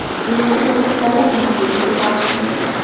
Yangi vositalar” mavzusiga bag‘ishlangan.